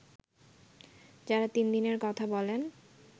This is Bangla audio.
যারা তিন দিনের কথা বলেন